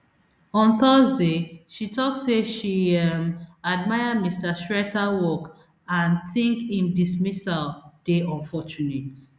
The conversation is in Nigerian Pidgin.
on thursday she tok say she um admire mr srettha work and tink im dismissal dey unfortunate